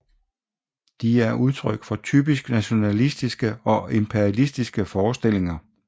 De er udtryk for typisk nationalistiske og imperialistiske forestillinger